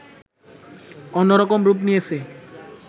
অন্যরকম রূপ নিয়েছে